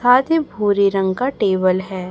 हां ये भूरे रंग का टेबल है।